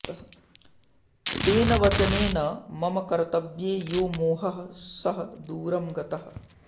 तेन वचनेन मम कर्तव्ये यो मोहः सः दूरं गतः